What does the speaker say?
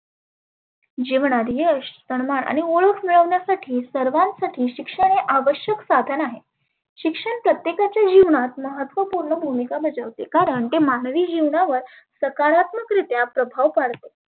निवणात यश सनमान आणि ओळख मिळविण्यासाठी सर्वांसाठी शिक्षण हे आवश्यक साधन आहे. शिक्षण प्रत्येकाच्या जिवणात महत्वपुर्ण भुमीका बजावते. कारण ते मानवी जिवनावर सकारात्मक रित्या प्रभाव पाडते.